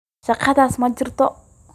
Shakadhas majirto.